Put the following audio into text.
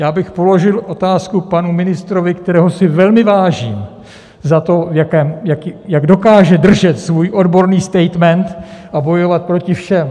Já bych položil otázku panu ministrovi, kterého si velmi vážím za to, jak dokáže držet svůj odborný statement a bojovat proti všem.